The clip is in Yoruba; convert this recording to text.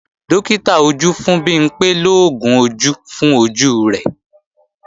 Dókítà ojú fún Bimpé lóògùn ojú fún ojú rẹ̀